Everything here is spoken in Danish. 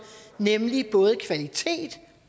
nemlig både kvalitet